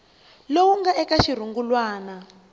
lowu nga eka xirungulwana xa